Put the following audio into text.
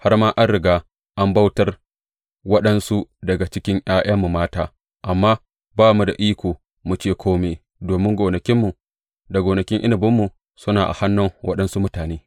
Har ma an riga an bautar waɗansu daga cikin ’ya’yanmu mata, amma ba mu da iko mu ce kome, domin gonakinmu da gonakin inabinmu suna a hannun waɗansu mutane.